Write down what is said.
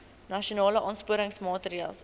nasionale aansporingsmaatre ls